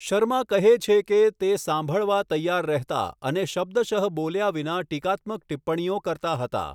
શર્મા કહે છે કે, તે સાંભળવા તૈયાર રહેતા અને શબ્દશઃ બોલ્યા વિના ટીકાત્મક ટિપ્પણીઓ કરતા હતા.